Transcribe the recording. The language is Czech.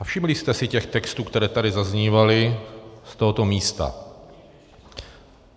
A všimli jste si těch textů, které tady zaznívaly z tohoto místa?